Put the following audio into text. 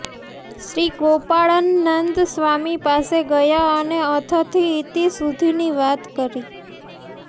શ્રી ગોપાળનંદ સ્વામી પાસે ગયા અને અથથી ઈતિ સુધીની વાત કરી